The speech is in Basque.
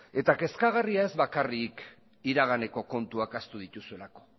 eta kezkagarria ez bakarrik iraganeko kontuak ahaztu dituzuelako